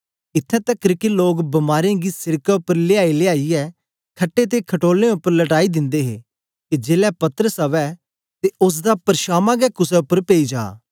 इत्थैं तकर के लोग बीमारें गी सिड़कें उपर लेयाईलेयाईयै खट्टे ते खटोलें उपर लटाई दिंदे हे के जेलै पतरस अवै ते ओसदे परधांमा गै कुसे उपर पेई जा